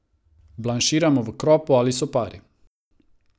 Blanširamo v kropu ali sopari.